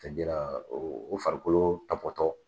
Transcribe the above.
o farikolo tabɔtɔ